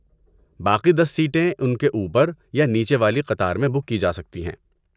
باقی دس سیٹیں ان کے اوپر یا نیچے والی قطار میں بک کی جا سکتی ہیں۔